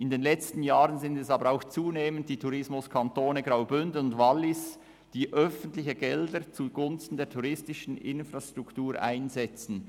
In den letzten Jahren sind es zunehmend die Tourismuskantone Graubünden und Wallis, die öffentliche Gelder zugunsten der touristischen Infrastruktur einsetzen.